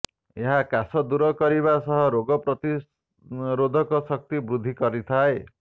ଏହା କାଶ ଦୂର କରିବା ସହ ରୋଗ ପ୍ରତିରୋଧକ ଶକ୍ତି ବୃଦ୍ଧି କରିଥାଏ